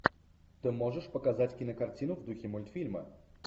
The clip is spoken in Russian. ты можешь показать кинокартину в духе мультфильма